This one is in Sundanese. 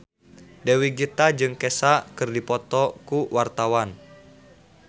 Dewi Gita jeung Kesha keur dipoto ku wartawan